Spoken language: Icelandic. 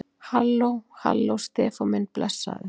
Halló. halló, Stefán minn. blessaður.